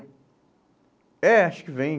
É, acho que vêm.